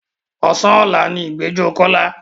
Ọ̀sán ọ̀la ni ìgbẹ́jọ́ Kọ́lá.